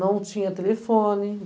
Não tinha telefone.